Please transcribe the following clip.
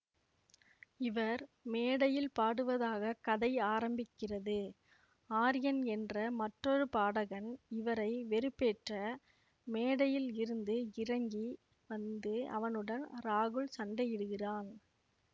இவர் மேடையில் பாடுவதாக கதை ஆரம்பிக்கிறது ஆர்யன் என்ற மற்றொரு பாடகன் இவரை வெறுப்பேற்ற மேடையில் இருந்து இறங்கி வந்து அவனுடன் ராகுல் சண்டையிடுகிறான்